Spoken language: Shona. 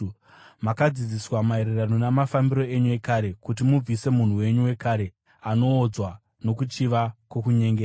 Makadzidziswa, maererano namafambiro enyu ekare, kuti mubvise munhu wenyu wekare, anoodzwa nokuchiva kwokunyengera;